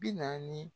Bi naani